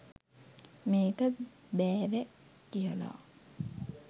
මේක බෑවැ කියලා.